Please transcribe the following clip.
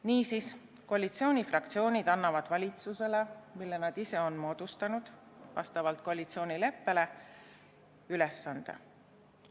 Niisiis annavad koalitsioonifraktsioonid valitsusele, mille nad ise on vastavalt koalitsioonileppele moodustanud, ülesande.